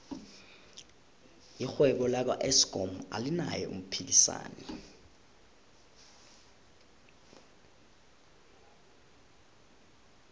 irhwebo laka eskom alinaye umphikisani